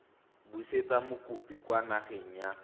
busetsa mokopi kwa nageng ya